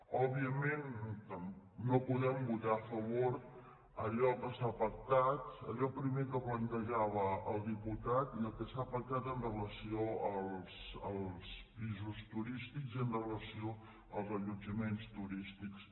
òbviament no podem votar a favor d’allò que s’ha pac·tat allò primer que plantejava el diputat i el que s’ha pactat amb relació als pisos turístics i amb relació als allotjaments turístics